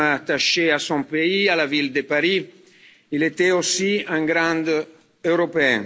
Homme attaché à son pays, à la ville de Paris, il était aussi un grand européen.